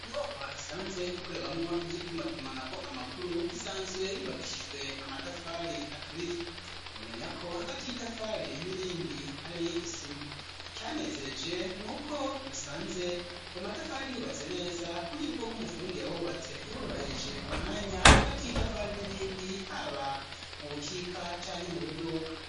Inyubakwa isanzwe ikorerwamo ivy'itumatumana ko amakuru isanzwe yibakishijwe amatafari aturiye bumenya ko hagati y'itafari n'irindi ari isima icanezereje n'uko nasanze ayo matafari hubatse neza ku buryo bwoko umufundi yahubatse yabubahirije umwanya hagati y'itafari n'irindi haba mu bukika canke mu buduka.